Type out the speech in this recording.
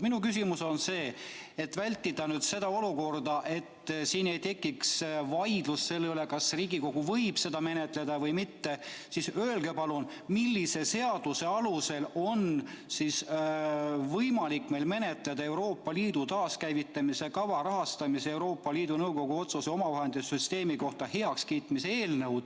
Minu küsimus on järgmine: selleks, et siin ei tekiks vaidlust selle üle, kas Riigikogu võib seda menetleda või mitte, öelge palun, millise seaduse alusel on võimalik meil menetleda Riigikogu otsuse "Euroopa Liidu taaskäivitamise kava rahastamise ja Euroopa Liidu Nõukogu otsuse omavahendite süsteemi kohta heakskiitmine" eelnõu.